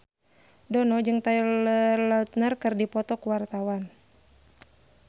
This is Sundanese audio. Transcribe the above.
Dono jeung Taylor Lautner keur dipoto ku wartawan